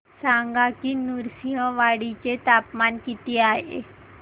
सांगा की नृसिंहवाडी चे तापमान किती आहे